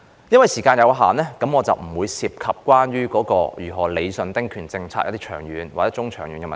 由於時間有限，我今天不會談及有關如何理順中、長遠丁權政策的問題。